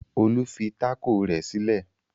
Olu fi tákò rẹ̀ sílẹ̀.